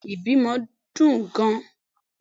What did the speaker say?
Beeni l, ibimo dun gan